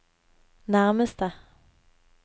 nærmeste